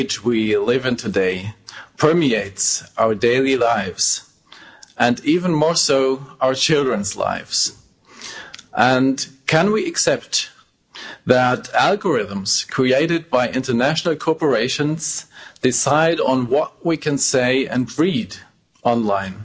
Madam President, the digital age we live in today permeates our daily lives and even more so our children's lives. Can we accept that algorithms created by international corporations decide on what we can say and read online,